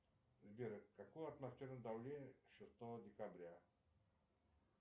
сбер какое атмосферное давление шестого декабря